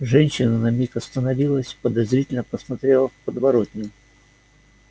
женщина на миг остановилась подозрительно посмотрела в подворотню